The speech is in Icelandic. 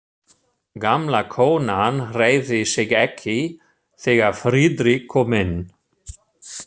Gamla konan hreyfði sig ekki, þegar Friðrik kom inn.